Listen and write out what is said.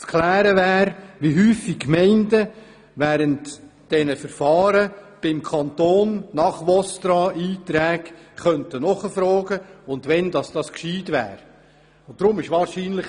Zu klären wäre, wie häufig die Gemeinden während der Verfahren beim Kanton nach VOSTRA-Einträgen nachfragen können und wann dies klug wäre.